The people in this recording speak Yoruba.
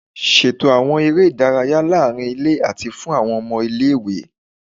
Ṣeto awọn ere idaraya laarin ile ati fun awọn ọmọ ile-iwe